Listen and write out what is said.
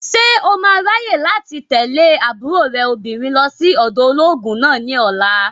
Ṣé o máa ráyè láti tẹ̀lé àbúrò rẹ̀ obìnrin lọ sí ọ̀dọ̀ olóògùn náà ní ọ̀la?